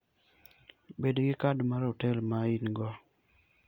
Bed gi kad mar hotel ma in-go.